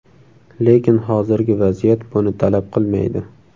Lekin hozirgi vaziyat buni talab qilmaydi.